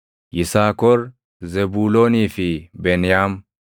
Yisaakor, Zebuuloonii fi Beniyaam;